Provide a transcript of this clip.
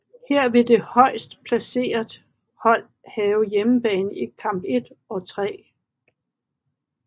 Her vil det højst placeret hold have hjemmebane i kamp 1 og 3